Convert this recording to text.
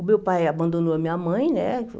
O meu pai abandonou a minha mãe, né?